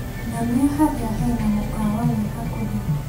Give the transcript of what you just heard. Nyonia harĩa hena mũkawa wĩ hakuhĩ .